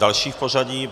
Další v pořadí.